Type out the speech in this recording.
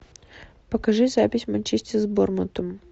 покажи запись манчестер с борнмутом